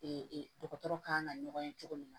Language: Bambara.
dɔgɔtɔrɔ kan ka ɲɔgɔn ye cogo min na